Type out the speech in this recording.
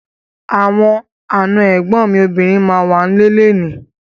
Àwọn àna ẹ̀gbọ́n mi obìnrin ma wà ń lé léèní.